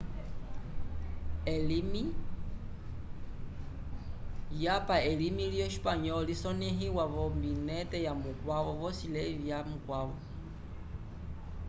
yapa elimi lyo espanyol lisoneiwa vo volombinetevyomanu vosi levi vyamukwavo